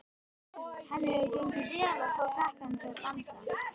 Henni hefur gengið vel að fá krakkana til að dansa.